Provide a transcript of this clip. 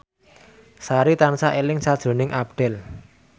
Sari tansah eling sakjroning Abdel